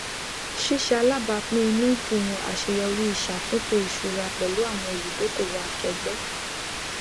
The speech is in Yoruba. ṣíṣe alábàápín inúúdùn àṣeyọrí ìṣàtúntò ìṣúra pẹlú àwọn olùdókòwò akẹẹgbẹ